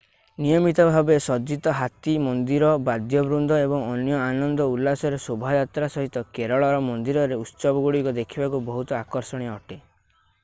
ନିୟମିତ ଭାବେ ସଜ୍ଜିତ ହାତୀ ମନ୍ଦିର ବାଦ୍ୟବୃନ୍ଦ ଏବଂ ଅନ୍ୟ ଆନନ୍ଦ ଉଲ୍ଲାସର ଶୋଭାଯାତ୍ରା ସହିତ କେରଳର ମନ୍ଦିରରେ ଉତ୍ସବଗୁଡ଼ିକ ଦେଖିବାକୁ ବହୁତ ଆକର୍ଷଣୀୟ ଅଟେ